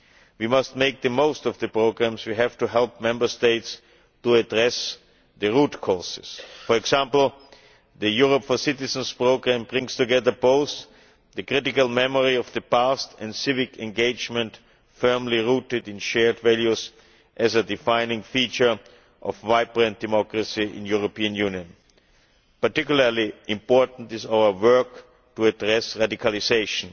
We must make the most of the programmes we have to help Member States to address the root causes. For example, the Europe for Citizens programme brings together both the critical memory of the past and civic engagement firmly rooted in shared values as a defining feature of vibrant democracy in European Union. Particularly important is our work to address radicalisation.